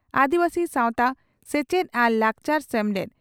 ᱟᱹᱫᱤᱵᱟᱹᱥᱤ ᱥᱟᱣᱛᱟ ᱥᱮᱪᱮᱫ ᱟᱨ ᱞᱟᱠᱪᱟᱨ ᱥᱮᱢᱞᱮᱫ